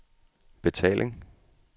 betaling